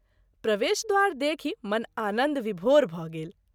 प्रवेश द्वार देखि मन आनन्द विभोर भ’ गेल।